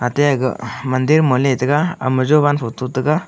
ate agag mandir ma letaiga ama jovan photo taga.